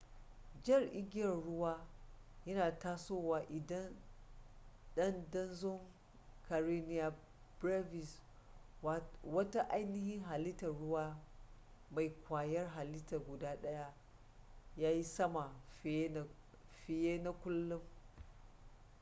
jar igiyar ruwa yan tasowa idan dandazon karenia brevis wata ainihin halittar ruwa mai ƙwayar halitta guda ɗaya ya yi sama fiye na kullum